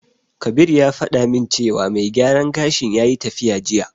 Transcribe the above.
Kabir ya faɗa min cewa mai gyaran gashin yayi tafiya jiya.